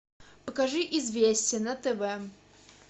покажи известия на тв